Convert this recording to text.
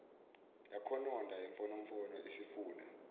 yakhononda imfonomfono isifuna